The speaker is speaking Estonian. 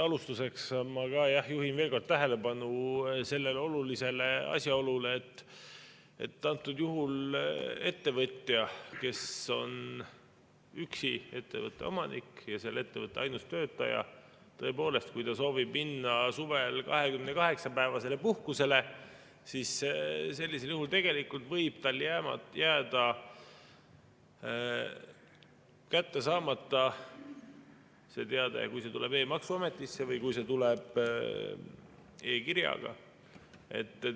Alustuseks ma juhin veel kord tähelepanu sellele olulisele asjaolule, et antud juhul ettevõtjal, kes on üksi ettevõtte omanik ja selle ettevõtte ainus töötaja, kui ta soovib minna suvel 28-päevasele puhkusele, võib jääda kätte saamata see teade, kui see tuleb e‑maksuametisse või kui see tuleb e‑kirjaga.